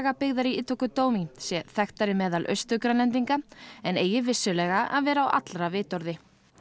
byggðar í Ittoqqortoormiit sé þekktari meðal Austur Grænlendinga en eigi vissulega að vera á allra vitorði